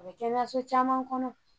A bɛ kɛnɛyaso caman kɔnɔ